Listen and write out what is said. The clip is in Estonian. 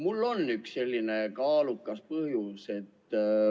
Mul on üks selline kaalukas põhjus.